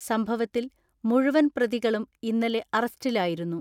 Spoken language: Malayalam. സംഭവത്തിൽ മുഴുവൻ പ്രതികളും ഇന്നലെ അറസ്റ്റിലാ യിരുന്നു.